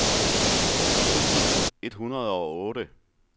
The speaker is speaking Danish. to tusind et hundrede og otte